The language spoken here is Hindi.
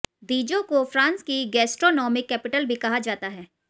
दीजों को फ्रांस की गैस्ट्रोनोमिक कैपिटल भी कहा जाता है